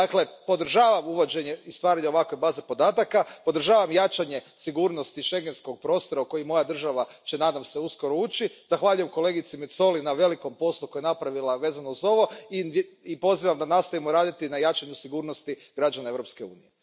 Dakle, podržavam uvođenje i stvaranje ovakve baze podataka, podržavam jačanje sigurnosti schengenskog prostora u koji moja država će nadam se uskoro ući, zahvaljujem kolegici Mezzoli na velikom poslu koji je napravila vezano uz ovo i pozivam da nastavimo raditi na jačanju sigurnosti građana Europske unije.